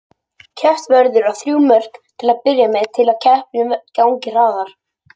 Keppt verður á þrjú mörk til að byrja með til að keppnin gangi hraðar.